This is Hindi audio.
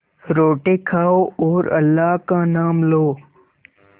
रोटी खाओ और अल्लाह का नाम लो